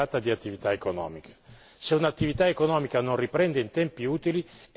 Se un'attività economica non riprende in tempi utili è un danno che si aggiunge al danno.